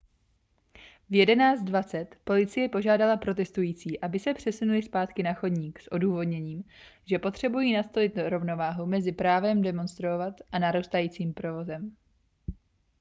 v 11:20 policie požádala protestující aby se přesunuli zpátky na chodník s odůvodněním že potřebují nastolit rovnováhu mezi právem demonstrovat a narůstajícím provozem